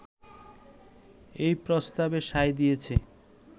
এই প্রস্তাবে সায় দিয়েছে